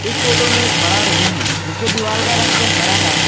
इस फोटो में एक बड़ा रूम है जिसके दीवार का रंग तो हरा है।